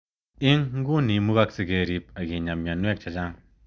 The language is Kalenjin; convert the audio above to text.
Ing nguni imukakse kerip akinyaa mionwek chechang.